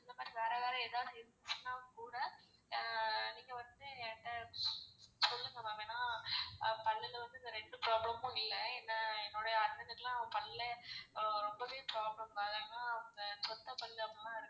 அந்தமாதிரி வேற வேற ஏதாவது இருந்துச்சுனா கூட ஆஹ் நீங்க வந்து சொல்லுங்க ma'am ஏன்னா பல்லுல வந்து இந்த ரெண்டு problem மும் இல்ல நான் என்னுடைய அண்ணனுக்கேலாம் பல்லே ரொம்பவே problem ஏன்னா அந்த சொத்த பல்லு.